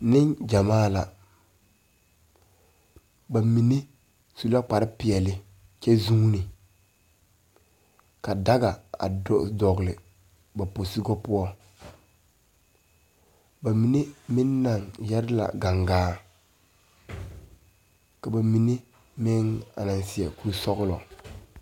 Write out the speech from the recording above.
Neŋgyamaa la ba mine su la kparepeɛle kyɛ zuune ka daga a do dɔgle ba posugɔ poɔŋ ba mine meŋ naŋ yɛre la gaŋgaa ka ba mine meŋ a naŋ seɛ kurisɔglɔ.